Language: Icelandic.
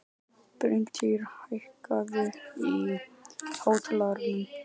Við höfum séð nýjar víddir og nýja markmenn sem maður hafði ekki hugmynd um.